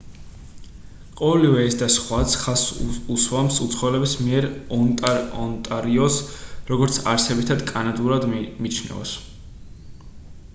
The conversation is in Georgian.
ყოველივე ეს და სხვაც ხაზს უსვამს უცხოელების მიერ ონტარიოს როგორც არსებითად კანადურად მიჩნევას